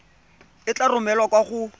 e tla romelwa kwa go